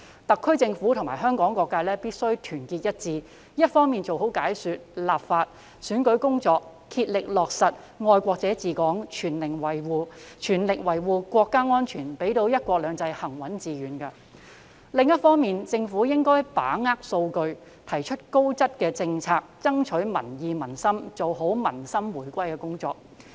特區政府及香港各界必須團結一致，一方面做好解說、立法及選舉工作，竭力落實"愛國者治港"，全力維護國家安全，讓"一國兩制"行穩致遠；另一方面，政府應該把握數據，提出高質政策，以爭取民意民心，做好民心回歸的工作。